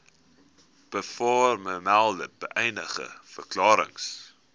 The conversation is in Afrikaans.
bovermelde beëdigde verklarings